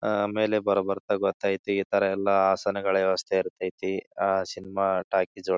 ಆಹ್ಹ್ ಮೇಲೆ ಬರ್ ಬರ್ತಾ ಗೊತೈತಿ. ಈ ತರ ಎಲ್ಲ ಹಾಸನಗಳ ವ್ಯವಸ್ಥೆ ಇರತೈತಿ. ಅಹ್ ಸಿನಿಮಾ ಟಾಕೀಸ್ ಒಳಗ --